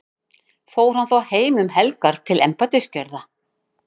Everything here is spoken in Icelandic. fór hann þá heim um helgar til embættisgjörða